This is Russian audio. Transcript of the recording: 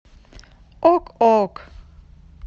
ок ок